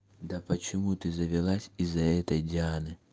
да почему ты завелась из-за этой дианы